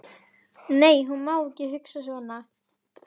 Nei, hún má ekki hugsa svona.